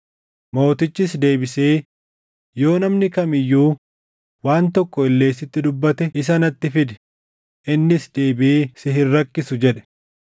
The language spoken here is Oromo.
Mootichis deebisee, “Yoo namni kam iyyuu waan tokko illee sitti dubbate isa natti fidi; innis deebiʼee si hin rakkisu” jedhe.